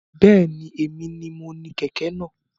Bẹ́ẹ̀ni, èmi ni mo ni kẹ̀kẹ́ náà